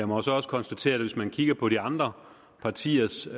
må jo så også konstatere at hvis man kigger på de andre partiers